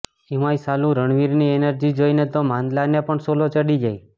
એમાંય સાલું રણવીરની એનર્જી જોઇને તો માંદલાને પણ સોલો ચડી જાય